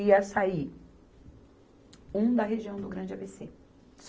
e ia sair um da região do Grande A Bê Cê.